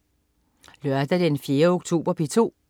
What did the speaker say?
Lørdag den 4. oktober - P2: